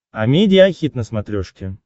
амедиа хит на смотрешке